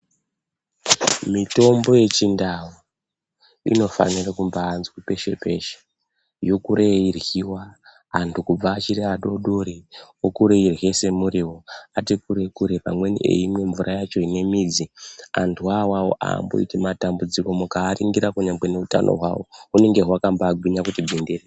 Mitombo yechindau inofanire kumbaazwi peshe -peshe yokure yeiryiwa antu kubva achiri adodori okure eirye semuriwo ati kure kure amweni eimwe mvura yacho ine midzi antu wo awawo aamboiti matambudziko mukaaringirira kunyangwe neutano hwavo hunongaakaba gwinya kuti gwindiri.